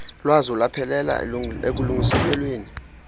lwazo lwaphelela ekulungiseleleni